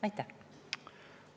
Aitäh!